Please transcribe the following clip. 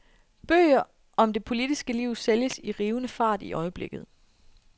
Bøger om det politiske liv sælges i rivende fart i øjeblikket.